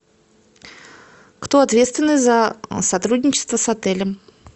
кто ответственный за сотрудничество с отелем